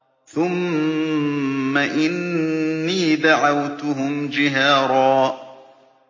ثُمَّ إِنِّي دَعَوْتُهُمْ جِهَارًا